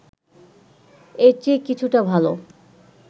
এর চেয়ে কিছুটা ভালো